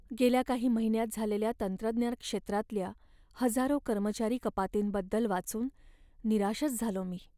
गेल्या काही महिन्यांत झालेल्या तंत्रज्ञान क्षेत्रातल्या हजारो कर्मचारी कपातींबद्दल वाचून निराशच झालो मी.